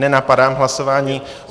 Nenapadám hlasování.